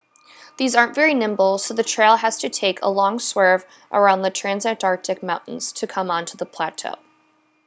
these aren't very nimble so the trail has to take a long swerve around the transantarctic mountains to come onto the plateau